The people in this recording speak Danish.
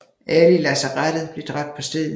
Alle i lazarettet blev dræbt på stedet